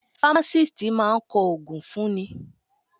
Fámásìst máa kọ ògùn fún ni.